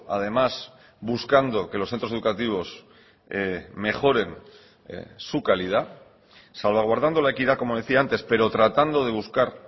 además buscando que los centros educativos mejoren su calidad salvaguardando la equidad como decía antes pero tratando de buscar